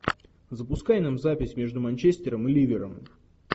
запускай нам запись между манчестером и ливером